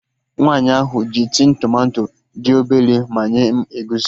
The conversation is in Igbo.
Nwaanyi ahụ ji tin tomato dị obele manye m egusi